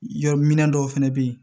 Yɔrɔ min dɔw fɛnɛ bɛ ye